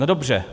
No dobře.